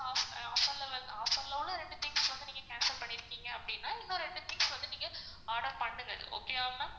offer ல வந்து offer ரெண்டு things நீங்க cancel பண்ணிருகீங்க அப்படினா இன்னும் ரெண்டு things வந்து நீங்க order பண்ணுங்க okay யா ma'am